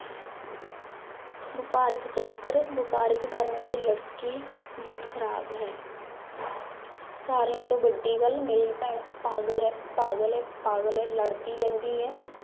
ਵਪਾਰਾਕ ਚੱਕਰ ਵਾਪਾਰਕ ਕਰਨ ਵਾਲੀ ਲੜਕੀ ਬਹੁਤ ਖ਼ਰਾਬ ਹੈ ਸਾਰਿਆਂ ਤੋਂ ਵੱਡੀ ਗੱਲ ਮੇਰੀ ਭੈਣ ਪਾਗਲ ਹੈ, ਪਾਗਲ ਹੈ, ਪਾਗਲ ਹੈ ਲੜਦੀ ਰਹਿੰਦੀ ਹੈ।